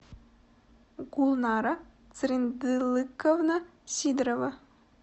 гулнара цырендылыковна сидорова